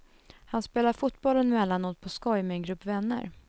Han spelar fotboll emellanåt på skoj med en grupp vänner.